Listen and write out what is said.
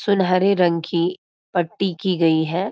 सुनहरे रंग की पट्टी की गई है।